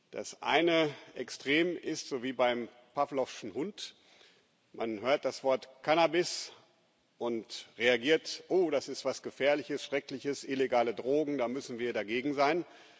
Das eine Extrem ist, so wie beim Pawlowschen Hund, man hört das Wort Cannabis und reagiert Oh, das ist was Gefährliches, Schreckliches, illegale Drogen, da müssen wir dagegen sein.